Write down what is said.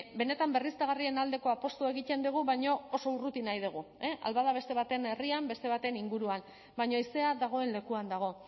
benetan berriztagarrien aldeko apustua egiten dugu baina oso urruti nahi dugu ahal bada beste baten herrian beste baten inguruan baina haizea dagoen lekuan dago